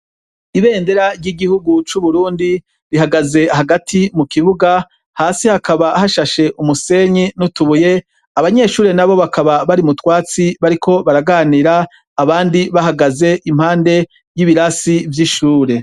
Ibendera ry' igihugu cu Burundi rihagaze hagati mu kibuga, hasi hakaba hashash' umusenyi nutubuye, abanyeshure nabo bakaba bari mutwatsi bariko baraganira, abandi bahagaz' impahande yibirasi vy'ishure.